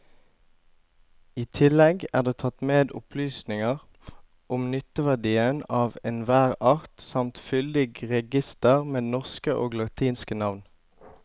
I tillegg er det tatt med opplysninger om nytteverdien av enhver art samt fyldig reigister med norske og latinske navn.